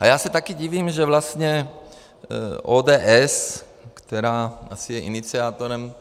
A já se taky divím, že vlastně ODS, která asi je iniciátorem